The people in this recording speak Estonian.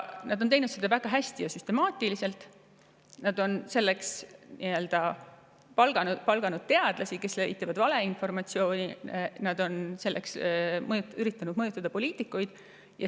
Nad on teinud seda väga hästi ja süstemaatiliselt: nad on selleks palganud teadlasi, kes levitavad valeinformatsiooni, ja nad on selleks üritanud mõjutada poliitikuid.